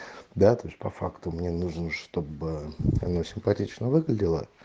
да то есть по факту мне нужно чтобы оно симпатично выглядело